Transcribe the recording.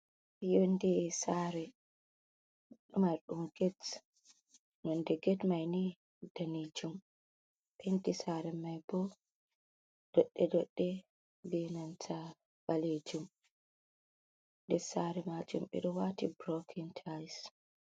Yonɗe sare marɗum ged nonɗe ged maini danejum penti sare mai bo doɗɗe doɗɗe ɓe nanta balejum nder sare majum ɓe ɗo wati brokin tais.